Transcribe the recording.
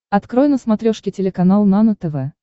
открой на смотрешке телеканал нано тв